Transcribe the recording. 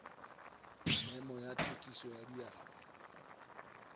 memo ya thekiso ya diabo